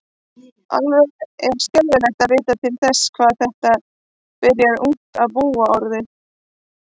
Alveg er skelfilegt að vita til þess hvað þetta byrjar ungt að búa orðið.